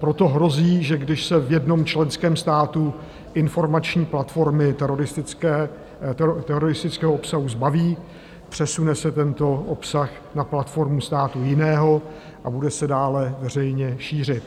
Proto hrozí, že když se v jednom členském státu informační platformy teroristického obsahu zbaví, přesune se tento obsah na platformu státu jiného a bude se dále veřejně šířit.